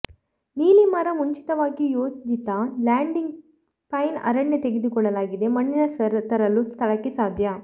ನೀಲಿ ಮರ ಮುಂಚಿತವಾಗಿ ಯೋಜಿತ ಲ್ಯಾಂಡಿಂಗ್ ಪೈನ್ ಅರಣ್ಯ ತೆಗೆದುಕೊಳ್ಳಲಾಗಿದೆ ಮಣ್ಣಿನ ತರಲು ಸ್ಥಳಕ್ಕೆ ಸಾಧ್ಯ